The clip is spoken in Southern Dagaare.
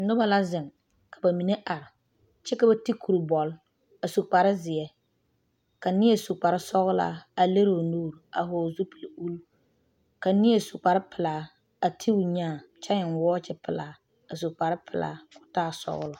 Noba la zeŋ ka ba mine are, kyɛ ka ba ti kurboɔl a su kpare zeɛ ka neɛ su kpare sɔglaa a leri o nuuri a vɔgeli kpolo ka neɛ su kpare pilaa a ti o nyaa kyɛ eŋe wɔɔkyi pilaa a su kparre pilaa kɔɔ taa sɔglɔ.